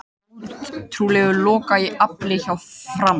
Ótrúlegur lokakafli hjá Fram